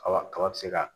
Kaba kaba be se ka